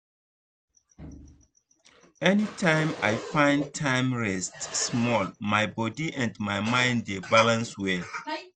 anytime i find time rest small my body and mind dey balance well.